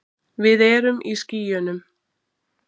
Við erum í skýjunum.